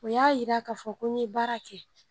U y'a yira ka fɔ ko n be baara kɛ.